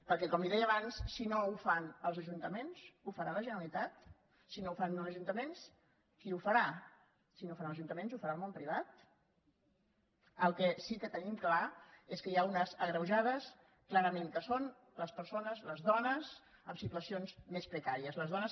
perquè com li deia abans si no ho fan els ajuntaments ho farà la generalitat si no ho fan els ajuntaments qui ho farà si no ho fan els ajuntaments ho farà el món privat el que sí que tenim clar és que hi ha unes agreujades clarament que són les persones les dones en situacions més precàries les dones